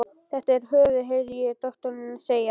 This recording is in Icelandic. Þetta er höfuðið, heyrði ég doktorinn segja.